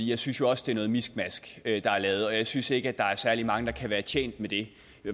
jeg synes jo også det er noget miskmask der er lavet og jeg synes ikke der er særlig mange der kan være tjent med det